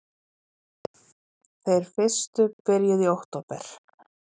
Þeir fyrstu byrjuðu í október